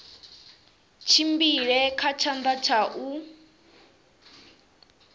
tshimbile kha tshanḓa tsha u